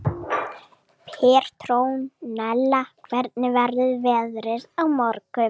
Petrónella, hvernig verður veðrið á morgun?